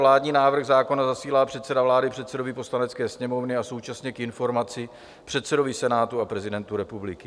Vládní návrh zákona zasílá předseda vlády předsedovi Poslanecké sněmovny a současně k informaci předsedovi Senátu a prezidentu republiky.